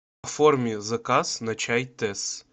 оформи заказ на чай тесс